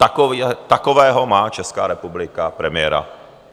Takového má Česká republika premiéra.